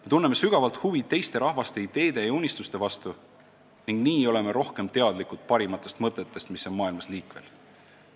Me tunneme sügavat huvi ka teiste rahvaste ideede ja unistuste vastu ning nii oleme rohkem teadlikud parimatest mõtetest, mis on maailmas liikvel.